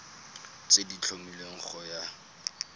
tse di tlhomilweng go ya